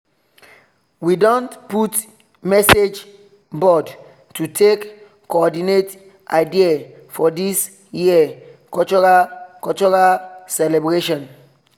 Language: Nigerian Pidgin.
we don put message board to take coordinate idea for this year cultural cultural celebration